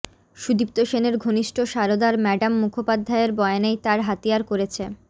সুদীপ্ত সেনের ঘনিষ্ঠ সারদার ম্যাডাম মুখোপাধ্যায়ের বয়ানেই তার হাতিয়ার করেছে